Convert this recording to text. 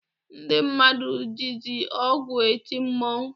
Ndị mmadụ jizi ọgwụ eti mmọnwụ.